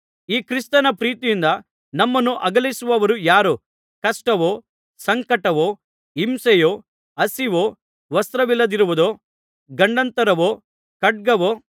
ಈ ಕ್ರಿಸ್ತನ ಪ್ರೀತಿಯಿಂದ ನಮ್ಮನ್ನು ಅಗಲಿಸುವವರು ಯಾರು ಕಷ್ಟವೋ ಸಂಕಟವೋ ಹಿಂಸೆಯೋ ಹಸಿವೋ ವಸ್ತ್ರವಿಲ್ಲದಿರುವುದೋ ಗಂಡಾಂತರವೋ ಖಡ್ಗವೋ